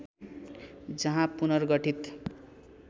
जहाँ पुनर्गठित